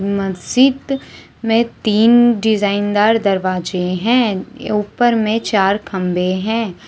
मस्जिद मे तीन डिजाइन दार दरवाजे हैऊपर मे चार खंभे हैं।